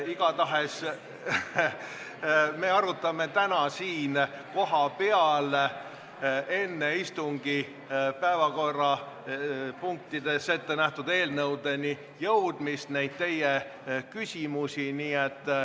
Igatahes, me arutame teie küsimusi täna siin kohapeal, enne istungi päevakorras ettenähtud eelnõudeni jõudmist.